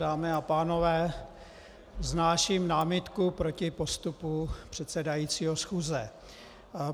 Dámy a pánové, vznáším námitku proti postupu předsedajícího schůze.